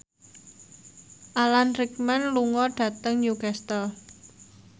Alan Rickman lunga dhateng Newcastle